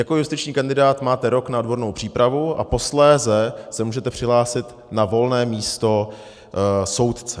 Jako justiční kandidát máte rok na odbornou přípravu a posléze se můžete přihlásit na volné místo soudce.